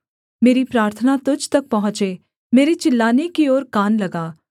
मेरी प्रार्थना तुझ तक पहुँचे मेरे चिल्लाने की ओर कान लगा